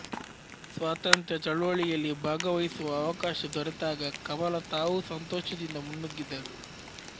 ಸ್ವಾತಂತ್ರ್ಯ ಚಳವಳಿಯಲ್ಲಿ ಭಾಗವಹಿಸುವ ಅವಕಾಶ ದೊರೆತಾಗ ಕಮಲಾ ತಾವೂ ಸಂತೋಷದಿಂದ ಮುನ್ನುಗ್ಗಿದರು